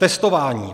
Testování.